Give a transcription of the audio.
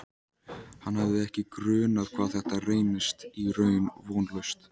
Hann hafði ekki grunað hvað þetta reynist í raun vonlaust.